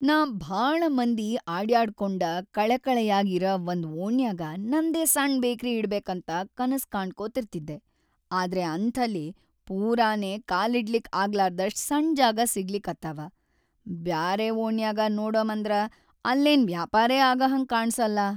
ನಾ ಭಾಳ ಮಂದಿ ಅಡ್ಯಾಡ್ಕೋಂಡ ಕಳೆಕಳೆಯಾಗ್ ಇರ ವಂದ್‌ ಓಣ್ಯಾಗ ನಂದೇ ಸಣ್‌ ಬೇಕ್ರಿ ಇಡ್ಬೇಕಂತ‌ ಕನಸ್‌ ಕಾಣ್ಕೋತಿರ್ತಿದ್ದೆ, ಆದ್ರೆ ಅಂಥಲ್ಲಿ ಪೂರಾನೇ ಕಾಲಿಡ್ಲಿಕ್‌ ಆಗ್ಲಾರ್ದಷ್ಟ್‌ ಸಣ್‌ ಜಾಗಾ ಸಿಗಲಿಕತ್ತಾವ, ಬ್ಯಾರೆ ಓಣ್ಯಾಗ ನೋಡಮಂದ್ರ ಅಲ್ಲೇನ್‌ ವ್ಯಾಪಾರೇ ಆಗಹಂಗ್ ಕಾಣಸಲ್ಲಾ.